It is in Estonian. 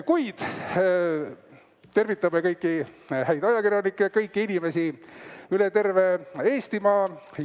Kuid tervitame kõiki häid ajakirjanikke ja kõiki inimesi üle terve Eestimaa!